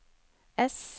ess